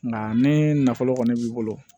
Nka ni nafolo kɔni b'i bolo